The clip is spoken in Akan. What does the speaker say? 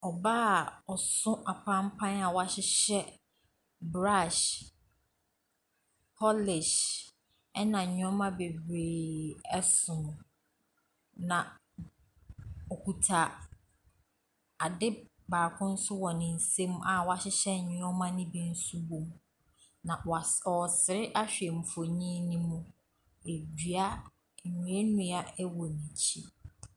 Ↄbaa a ɔso apampan a wahyehyɛ brush, polish ɛna nneɛma bebree so no. Na ɔkuta adeɛ baako nso wɔ ne nsam a nneɛma no nso bi wom. Na was ɔresre ahwɛ mfonin no mu. Edua nnuannua wɔ n’akyi.